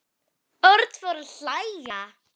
Örn fór að hlæja.